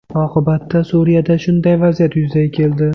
Oqibatda Suriyada shunday vaziyat yuzaga keldi.